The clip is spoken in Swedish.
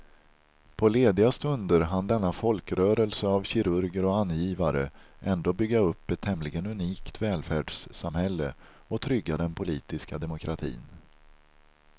På lediga stunder hann denna folkrörelse av kirurger och angivare ändå bygga upp ett tämligen unikt välfärdssamhälle och trygga den politiska demokratin.